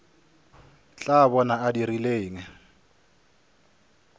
tla bona a dirile eng